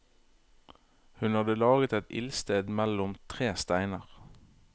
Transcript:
Hun hadde laget et ildsted mellom tre steiner.